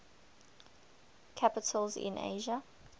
capitals in asia